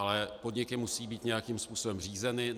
Ale podniky musí být nějakým způsobem řízeny.